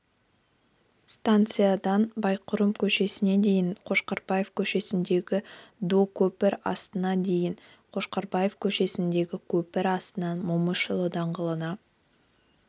станциядан байырқұм көшесіне дейін қошқарбаев көшесіндегі до көпір астына дейін қошқарбаев көшесіндегі көпір астынан момышұлы даңғылына